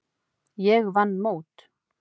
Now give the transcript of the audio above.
Ég vann mót.